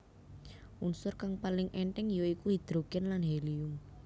Unsur kang paling èntheng ya iku hidrogen lan helium